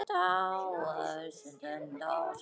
Ljóshærða og bláeygða.